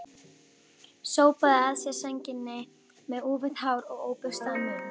Sópaði að sér sænginni með úfið hár og óburstaðan munn.